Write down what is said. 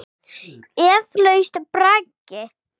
Eflaust braggi.